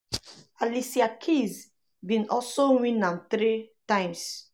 alicia keys bin also um win am three times.